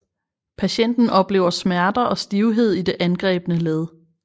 Patienten oplever smerter og stivhed i det angrebne led